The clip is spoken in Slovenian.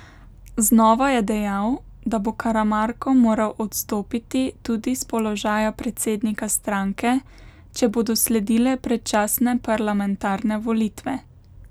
Znova je dejal, da bo Karamarko moral odstopiti tudi s položaja predsednika stranke, če bodo sledile predčasne parlamentarne volitve.